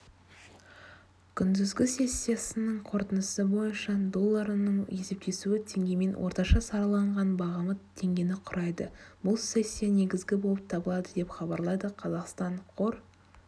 күндізгі сессиясының қорытындысы бойынша долларының есептесуі теңгемен орташа сараланған бағамы теңгені құрайды бұл сессия негізгі болып табылады деп хабарлайды қазақстан қор